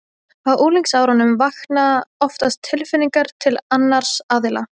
Á unglingsárunum vakna oftast tilfinningar til annars aðila.